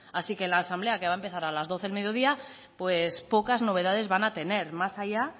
así que en la asamblea que va a empezar a las doce del mediodía pues pocas novedades van a tener más allá